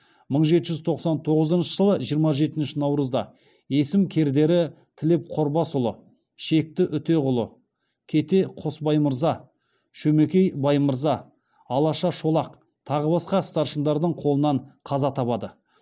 мың жеті жүз тоқсан тоғызыншы жылы жиырма жетінші наурызда есім кердері тілеп қорбасұлы шекті үтеғұл кете қосбаймырза шөмекей баймырза алаша шолақ тағы басқа старшындардың қолынан қаза табады